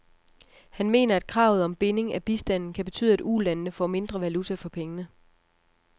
Han mener, at kravet om binding af bistanden kan betyde, at ulandene får mindre valuta for pengene.